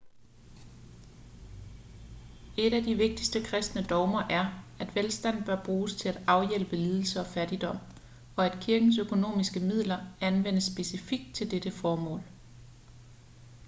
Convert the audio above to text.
et af de vigtigste kristne dogmer er at velstand bør bruges til at afhjælpe lidelse og fattigdom og at kirkens økonomiske midler anvendes specifikt til dette formål